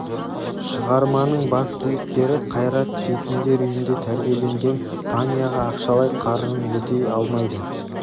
шығарманың бас кейіпкері қайрат жетімдер үйінде тәрбиеленген таняға ақшалай қарызын өтей алмайды